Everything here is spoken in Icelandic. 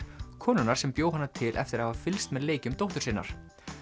konunnar sem bjó hana til eftir að hafa fylgst með leikjum dóttur sinnar